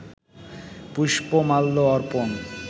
পুষ্পমাল্য অর্পণ